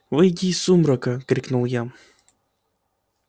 выйди из сумрака крикнул я